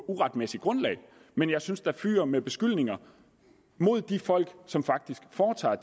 uretmæssigt grundlag men jeg synes at det fyger med beskyldninger mod de folk som faktisk foretager